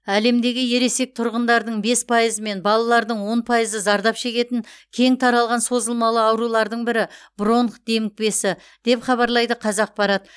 әлемдегі ересек тұрғындардың бес пайызы мен балалардың он пайызы зардап шегетін кең таралған созылмалы аурулардың бірі бронх демікпесі деп хабарлайды қазақпарат